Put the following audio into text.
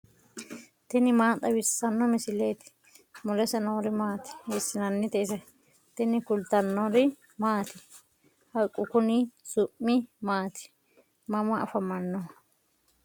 tini maa xawissanno misileeti ? mulese noori maati ? hiissinannite ise ? tini kultannori maati? haqqu konni su'mi maati? mama afammanno?